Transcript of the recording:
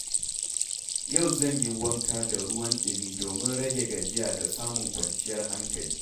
Yau zan yi wanka da ruwan ɗumi domin rage gajiya da samun kwanciyar hankali.